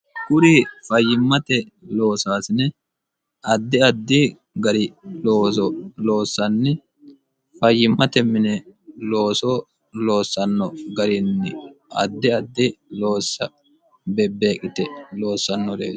Kuri fayyimmate loosaasine addi addi gari looso loossanni fayyimmate mine looso loossanno garinni addi addi loossa beebbeeqite loossannoreeti